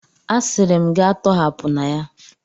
Asịrị m gị a tọhapụna ya!